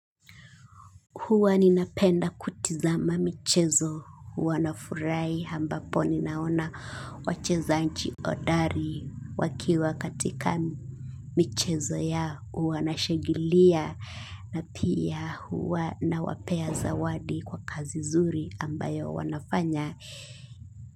Huwa ninapenda kutizama michezo hua nafurahi ambapo ninaona wachezaji hodari wakiwa katika michezo yao, wanashangilia na pia wanawapea zawadi kwa kazi nzuri ambayo wanafanya.